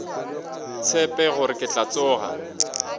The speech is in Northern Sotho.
tshepe gore ke tla tsoga